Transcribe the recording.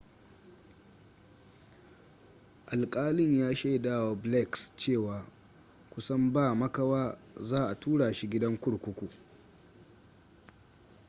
alƙalin ya shaidawa blakes cewa kusan ba makawa za a tura shi gidan kurkuku